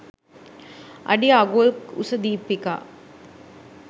අඩිඅඟුල් ක් උස දීපිකා